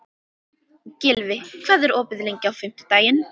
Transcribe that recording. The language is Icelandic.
Gylfi, hvað er opið lengi á fimmtudaginn?